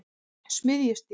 Smiðjustíg